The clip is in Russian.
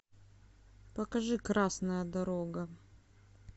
покажи красная дорога